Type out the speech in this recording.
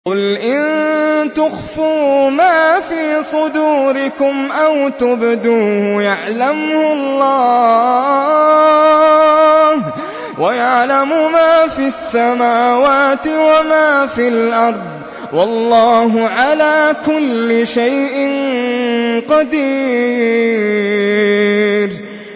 قُلْ إِن تُخْفُوا مَا فِي صُدُورِكُمْ أَوْ تُبْدُوهُ يَعْلَمْهُ اللَّهُ ۗ وَيَعْلَمُ مَا فِي السَّمَاوَاتِ وَمَا فِي الْأَرْضِ ۗ وَاللَّهُ عَلَىٰ كُلِّ شَيْءٍ قَدِيرٌ